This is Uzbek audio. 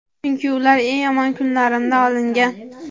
Chunki ular eng yomon kunlarimda olingan.